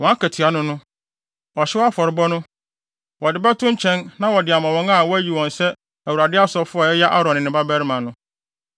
Wɔn akatua ne no: Ɔhyew afɔrebɔ no, wɔde bɛto nkyɛn na wɔde ama wɔn a wɔayi wɔn sɛ Awurade asɔfo a ɛyɛ Aaron ne ne mmabarima no.